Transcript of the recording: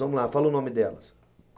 Vamos lá, fala o nome delas.